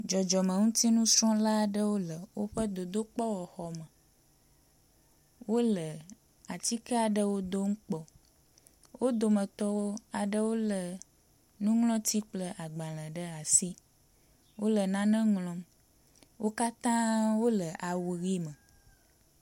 Dzɔdzɔmeŋutinusrɔ̃la aɖewo le woƒe dodokpɔxɔme. Wo le atike aɖewo dom kpɔ. Wo dometɔ wo aɖewo le nuŋlɔ̃ti kple agbale ɖe asi. Wo le nane ŋlɔm. wo katã wo le awu ʋi me.